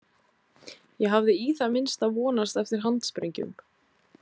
Ég hafði í það minnsta vonast eftir handsprengjum.